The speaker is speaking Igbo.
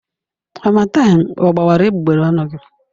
Harmattan ọ gbawara egbugbere ọnụ gị?